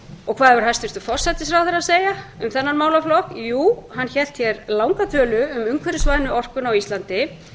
á hvað hefur hæstvirtur forsætisráðherra að segja um þennan málaflokk jú hann hélt hér langa tölu um umhverfisvænu orkuna á íslandi